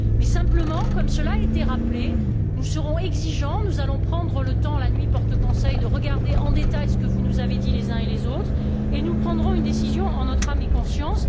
Mais simplement, comme cela a été rappelé, nous serons exigeants, nous allons prendre le temps la nuit porte conseil de regarder en détail ce que vous nous avez dit, les uns et les autres, et nous prendrons une décision en notre âme et conscience.